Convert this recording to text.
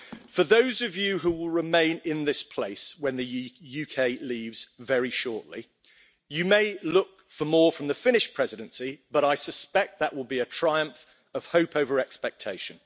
For those of you who will remain in this place when the UK leaves very shortly, you may look for more from the Finnish Presidency, but I suspect that will be a triumph of hope over expectation.